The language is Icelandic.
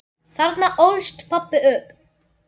Þarna ólst pabbi upp.